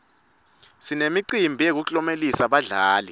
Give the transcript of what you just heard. sinemicimbi yekuklomelisa badlali